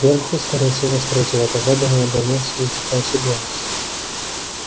сверху скорее всего с третьего этажа до него донёсся затихающий голос